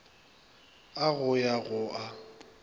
a go ya go a